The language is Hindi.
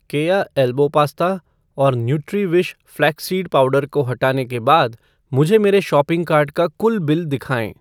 केया एल्बो पास्ता और न्यूट्रीविश फ़्लैक्स सीड पाउडर को हटाने के बाद मुझे मेरे शॉपिंग कार्ट का कुल बिल दिखाएँ